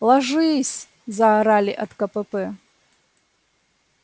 ложись заорали от кпп